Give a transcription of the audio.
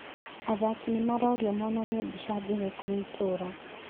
Athaki nĩmarorio monanie mbica njega kũrĩ itũra